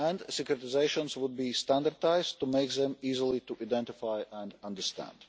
Securitisations would be standardised to make them easy to identify and understand.